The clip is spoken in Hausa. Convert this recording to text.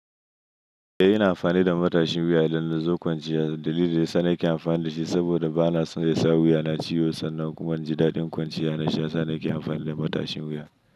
Eh, ina amfani da matashin wuya don in zo kwanciya. Dalilin da yana sa nake amfani da shi saboda bana son ya sa wuyana ciwo sannan kuma inji dadin kwanciya na sha shiyasa nake amfani da matashin wuya.